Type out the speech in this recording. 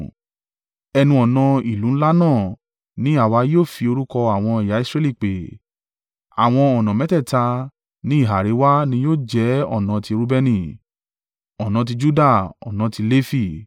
ẹnu-ọ̀nà ìlú ńlá náà ní àwa yóò fi orúkọ àwọn ẹ̀yà Israẹli pè. Àwọn ọ̀nà mẹ́tẹ̀ẹ̀ta ní ìhà àríwá ní yóò jẹ́ ọ̀nà tí Reubeni, ọ̀nà tí Juda ọ̀nà tí Lefi.